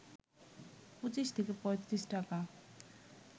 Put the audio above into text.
২৫ থেকে ৩৫ টাকা